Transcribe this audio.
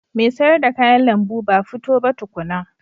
Mai sayar da kayan lambu ba fito ba tukuna.